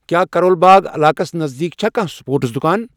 کیا کَرول باغ علاقس نزدیٖک چھا کانٛہہ سپورٹس دُۄکان ؟